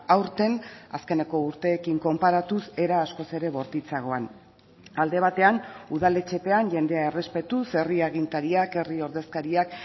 aurten azkeneko urteekin konparatuz era askoz ere bortitzagoan alde batean udaletxe pean jendea errespetuz herri agintariak herri ordezkariak